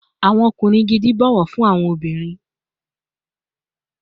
Awọn ọkunrin gidi bọwọ fun awọn obinrin